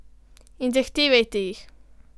In zahtevajte jih.